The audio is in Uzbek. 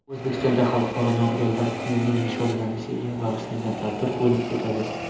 O‘zbekistonda Xalqaro nogironlar kunining nishonlanishiga bag‘ishlangan tadbirlar bo‘lib o‘tadi.